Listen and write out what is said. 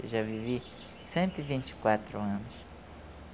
Eu já vivi cento e vinte e quatro anos.